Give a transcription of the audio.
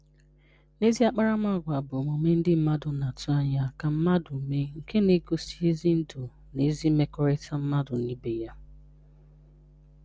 Good manners are the behaviors that people expect expect others to do, which reflect good living and good relationships.\nEzi akparamagwa bụ omume ndị mmadụ na-atụ anya ka mmadụ mee, nke na-egosi ezi ndụ na ezi mmekọrịta mmadụ na ibe ya.